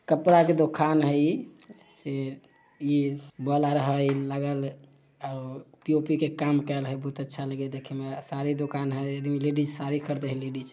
कपड़ा के दुकान है इ से साड़ी दोकान हेय लेडिज साड़ी खरीदे हेय लेडीज --